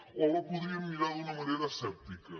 o la podríem mirar d’una manera asèptica